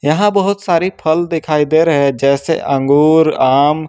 यहां बहुत सारी फल दिखाई दे रहे हैं जैसे अंगूर आम।